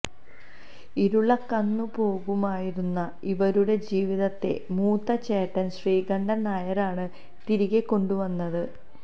ഇരുളകന്നുപോകുമായിരുന്ന ഇവരുടെ ജീവിതത്തെ മൂത്ത ചേട്ടൻ ശ്രീകണ്ഠൻ നായരാണ് തിരികെ കൊണ്ടുവന്നത്